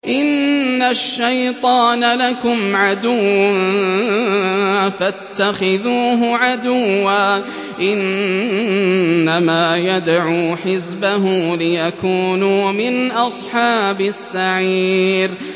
إِنَّ الشَّيْطَانَ لَكُمْ عَدُوٌّ فَاتَّخِذُوهُ عَدُوًّا ۚ إِنَّمَا يَدْعُو حِزْبَهُ لِيَكُونُوا مِنْ أَصْحَابِ السَّعِيرِ